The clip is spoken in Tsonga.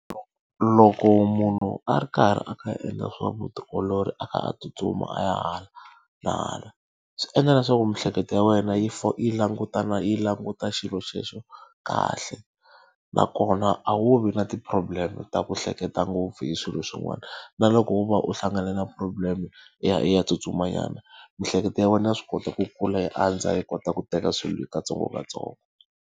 Loko munhu a ri karhi a kha a endla swa vutiolori a kha a tsutsuma a ya hala na hala, swi endla na leswaku miehleketo ya wena yi langutana yi languta xilo xexo kahle. Nakona a wu vi na ti-problem-e ta ku hleketa ngopfu hi swilo swin'wana. Na loko wo va u hlangane na problem-e, i ya i ya tsutsumanyana miehleketo ya wena ya swi kota ku kula yi andza yi kota ku teka swilo hi katsongokatsongo.